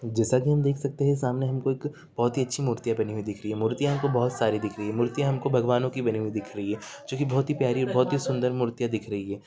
जैसा की हम देख सकते है सामने हमें एक बहुत ही अच्छी मूर्तिया बनी दिखाई दे रही है मुर्तिया हमको बहुत सारी दिख रही है मूर्ति हमको भगवान की बनी दिख रही है जो की बहुत ही प्यारी और बहुत ही सुन्दर मुर्तियां दिख रही है।